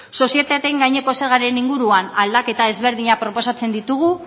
sozietateen gaineko zergaren inguruan aldaketa ezberdinak proposatzen ditugu